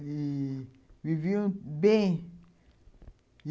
Ih... viviam bem.